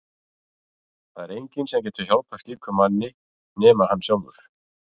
Það er enginn sem getur hjálpað slíkum manni nema hann sjálfur.